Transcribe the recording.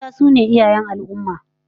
Mata su ne iyayen al'ummah